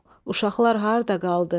Uşaqlar harda qaldı?